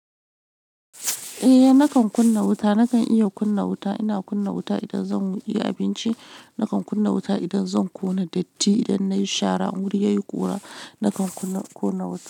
Eh nakan kunna wuta, nakan iya kunna wuta. Ina kunna wuta idan zan yi abinci. Nakan kunna wuta idan zan ƙona datti. Idan nayi shara in wuri yayi ƙura nakan kunna wuta.